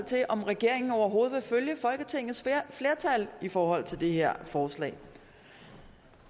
til om regeringen overhovedet vil følge folketingets flertal i forhold til det her forslag